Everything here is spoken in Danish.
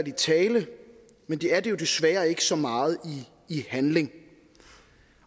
i tale men de er det jo desværre ikke så meget i handling